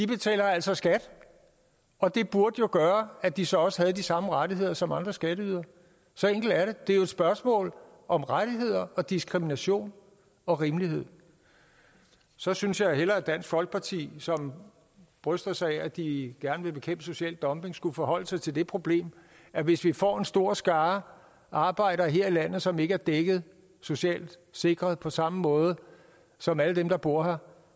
betaler altså skat og det burde jo gøre at de så også havde de samme rettigheder som andre skatteydere så enkelt er det det er jo et spørgsmål om rettigheder og diskrimination og rimelighed så synes jeg hellere at dansk folkeparti som bryster sig af at de gerne vil bekæmpe social dumping skulle forholde sig til det problem at hvis vi får en stor skare arbejdere her i landet som ikke er dækket socialt sikret på samme måde som alle dem der bor her